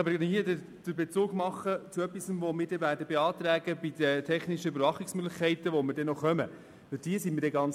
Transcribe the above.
Man kann an dieser Stelle den Bezug zu einem Thema machen, zu dem wir einen Antrag stellen werden: zu den technischen Überwachungsmöglichkeiten, zu denen wir noch kommen werden.